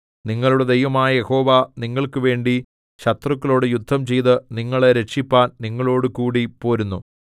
നിങ്ങളുടെ ദൈവമായ യഹോവ നിങ്ങൾക്കുവേണ്ടി ശത്രുക്കളോട് യുദ്ധം ചെയ്ത് നിങ്ങളെ രക്ഷിപ്പാൻ നിങ്ങളോടുകൂടി പോരുന്നു